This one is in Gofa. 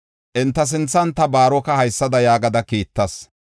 Enta sinthan ta Baaroka haysada yaagada kiittas: